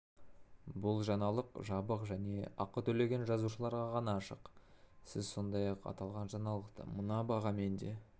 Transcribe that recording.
бұл жаңалық жабық және ақы төлеген жазылушыларға ғана ашық сіз сондай-ақ аталған жаңалықты мына бағамен де